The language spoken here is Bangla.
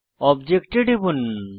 অবজেক্টে টিপুন